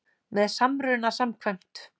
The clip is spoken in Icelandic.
með samruna samkvæmt